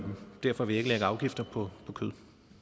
derfor vil jeg ikke lægge afgifter på kød